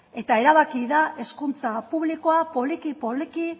eta erabaki da hezkuntza publikoa poliki poliki